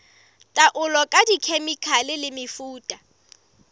taolo ka dikhemikhale le mefuta